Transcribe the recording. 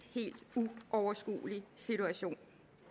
uoverskuelig situation